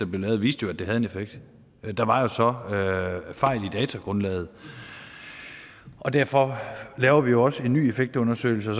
blev lavet viste jo at det havde en effekt der var så fejl i datagrundlaget og derfor laver vi jo også en ny effektundersøgelse og